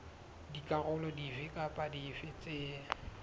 dikarolo dife kapa dife tse